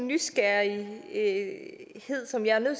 nysgerrighed som jeg er nødt